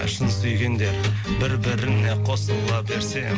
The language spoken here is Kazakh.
шын сүйгендер бір біріне қосыла берсе